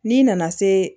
N'i nana se